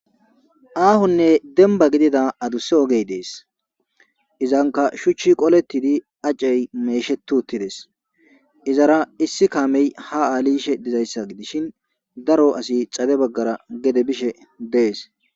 Ahone demba gidida adusa oge des izanka shuchi qoletid ace mesheti utides izara isi kame ha adhidaysa gidish deesin daro asi xadebagara adhishn.